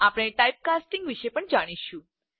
આપણે type casting વિશે પણ જાણીશું